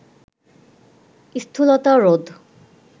স্থূলতা রোধ